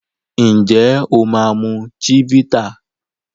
Njé o ma mu Chivita?